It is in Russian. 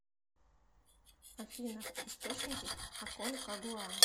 афина источники аконкагуа